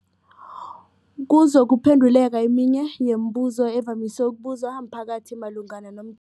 kuzokuphe nduleka eminye yemibu zo evamise ukubuzwa mphakathi malungana nom